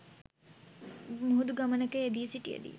මුහුදු ගමනක යෙදී සිටියදී